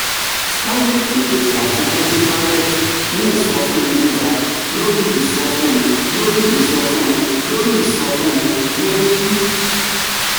starlink ń pèsè àfikún sí íńtánẹ́ẹ̀tì ní ìsọfúnni gíga lórí ìsọfúnni lórí ìsọfúnni lórí ìsọfúnni lórí